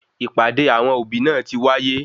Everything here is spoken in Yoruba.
Ìpàdé awọn òbí náà tí wáyé